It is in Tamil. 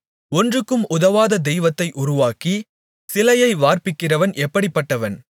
ஒன்றுக்கும் உதவாத தெய்வத்தை உருவாக்கி சிலையை வார்ப்பிக்கிறவன் எப்படிப்பட்டவன்